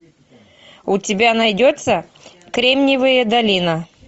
у тебя найдется кремниевая долина